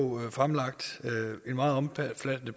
fremlagt en meget omfattende